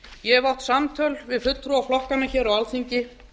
ég hef átt samtöl við fulltrúa flokkanna hér á alþingi